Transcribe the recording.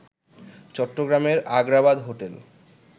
চট্টগ্রামের আগ্রাবাদ হোটেল